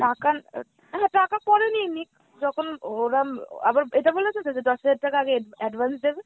টাকা উম হ্যাঁ টাকা পরে নিয়ে নিক, যখন ওরাম আবার এটা বলছেতো যে দশ হাজার টাকা আগে ad~ advance দেবে?